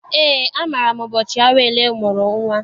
Eé, amaara m ụbọchị Awele mụrụ nnwa.